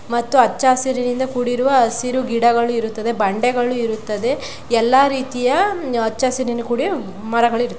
ಮತ್ತು ಅಚ್ಚಅಸಿರಿನಿಂದ ಕೂಡಿರುವ ಅಸಿರು ಗಿಡಗಳು ಇರುತ್ತದೆ ಬಂಡೆಗಳು ಇರುತ್ತದೆ. ಎಲ್ಲಾ ರೀತಿಯ ಅಚ್ಚಅಸಿರಿನಿಂದ ಕೂಡಿ ಮರಗಳು ಇರುತ್ತ--